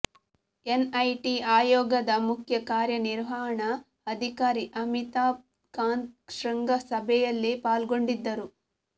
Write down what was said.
NIT ಆಯೋಗದ ಮುಖ್ಯ ಕಾರ್ಯ ನಿರ್ವಹಣ ಅಧಿಕಾರಿ ಅಮಿತಾಭ್ ಕಾಂತ್ ಶೃಂಗ ಸಭೆಯಲ್ಲಿ ಪಾಲ್ಗೊಂಡಿದ್ದರು